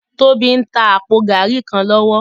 Tobi n tá àpó gàrí kán lòwò